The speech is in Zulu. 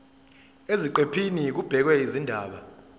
eziqephini kubhekwe izindaba